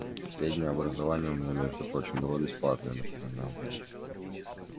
среднее образование у меня между прочим было бесплатное напоминал я